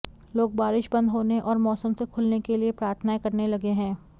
लोग बारिश बंद होने और मौसम से खुलने के लिए प्रार्थनाएं करने लगे हैं